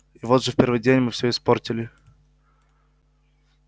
и вот же в первый же день мы всё испортили